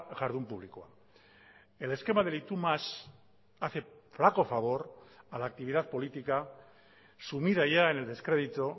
jardun publikoa el esquema del y tú más hace flaco favor a la actividad política sumida ya en el descrédito